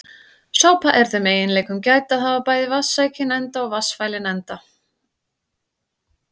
Sápa er þeim eiginleikum gædd að hafa bæði vatnssækinn enda og vatnsfælinn enda.